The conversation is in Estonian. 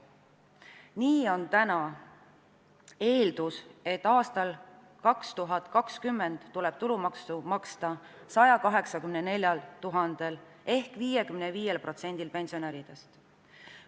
Nii on eeldatud, et aastal 2020 tuleb tulumaksu maksta 184 000 pensionäril ehk 55%-l pensionäridest.